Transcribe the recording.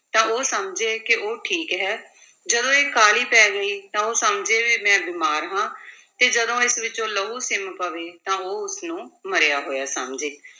ਤਾਂ ਉਹ ਸਮਝੇ ਕਿ ਉਹ ਠੀਕ ਹੈ, ਜਦੋਂ ਇਹ ਕਾਲੀ ਪੈ ਗਈ ਤਾਂ ਉਹ ਸਮਝੇ ਵੀ ਮੈਂ ਬਿਮਾਰ ਹਾਂ ਤੇ ਜਦੋਂ ਇਸ ਵਿੱਚੋਂ ਲਹੂ ਸਿੰਮ ਪਵੇ ਤਾਂ ਉਹ ਉਸਨੂੰ ਮਰਿਆ ਹੋਇਆ ਸਮਝੇ।